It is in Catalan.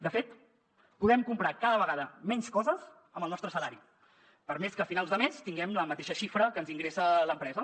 de fet podem comprar cada vegada menys coses amb el nostre salari per més que a finals de mes tinguem la mateixa xifra que ens ingressa l’empresa